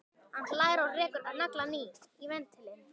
Hann hlær og rekur naglann í ventilinn.